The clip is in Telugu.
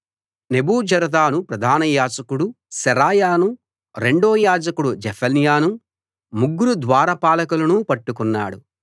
నెబూజరదాను ప్రధానయాజకుడు శెరాయానూ రెండో యాజకుడు జెఫన్యానూ ముగ్గురు ద్వార పాలకులనూ పట్టుకున్నాడు